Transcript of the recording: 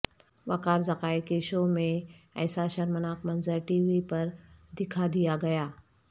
وقار ذکاءکے شو میں ایسا شرمناک منظر ٹی وی پر دکھا دیا گیا